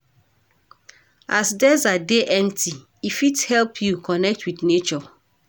As desert dey empty, e fit help you connect wit nature.